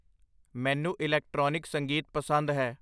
ਮੈਨੂੰ ਇਲੈਕਟ੍ਰਾਨਿਕ ਸੰਗੀਤ ਪਸੰਦ ਹੈ